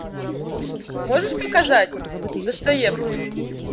можешь показать достоевский